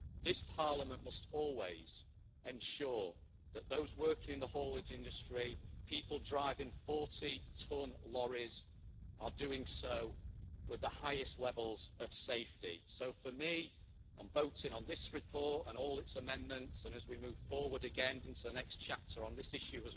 This Parliament must always ensure that those working in the haulage industry people driving 40 tonne lorries are doing so with the highest levels of safety. So, for me, on voting on this report and all its amendments and as we move forward again into the next chapter on this issue,